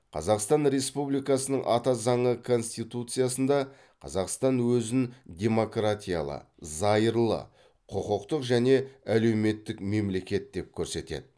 қазақстан републикасының ата заңы конституциясында қазақстан өзін демократиялы зайырлы құқықтық және әлеуметтік мемлекет деп көрсетеді